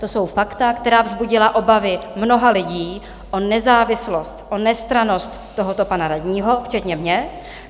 To jsou fakta, která vzbudila obavy mnoha lidí o nezávislost, o nestrannost tohoto pana radního, včetně mě.